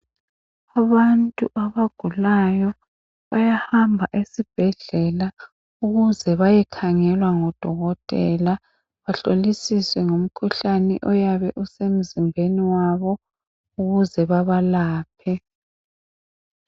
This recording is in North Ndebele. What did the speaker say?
Abantu abagulayo bayahamba esibhedlela ukuze bayekhangelwa ngodokotela bahlolisiswe ngomkhuhlane oyabe usemzimbeni wabo ukuze bebalaphe.